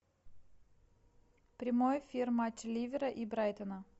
прямой эфир матч ливера и брайтона